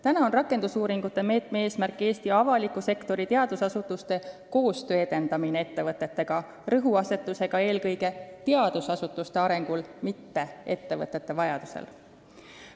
Praegu on rakendusuuringute meetme eesmärk edendada Eesti avaliku sektori ja teadusasutuste koostööd, kusjuures rõhuasetus on eelkõige teadusasutuste arengul, mitte ettevõtete vajadusel.